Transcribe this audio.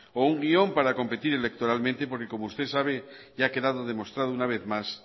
o un guión para competir electoralmente porque como usted sabe y ha quedado demostrado una vez más